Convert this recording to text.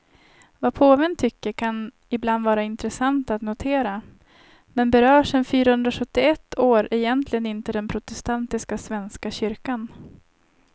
Vad påven tycker kan ibland vara intressant att notera, men berör sen fyrahundrasjuttioett år egentligen inte den protestantiska svenska kyrkan.